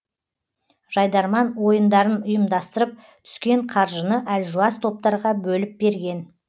жайдарман ойындарын ұйымдастырып түскен қаржыны әлжуаз топтарға бөліп берген